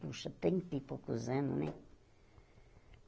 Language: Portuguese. Puxa, trinta e poucos anos, né?